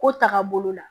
Ko taga bolo la